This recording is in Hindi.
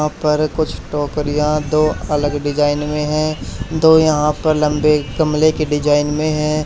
यहां पर कुछ टोकरियां दो अलग डिजाइन में है दो यहां पर लंबे गमले की डिजाइन में हैं।